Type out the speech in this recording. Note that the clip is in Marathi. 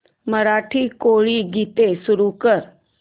मराठी कोळी गीते सुरू कर